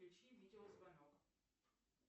включи видеозвонок